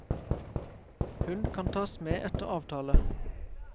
Hund kan tas med etter avtale.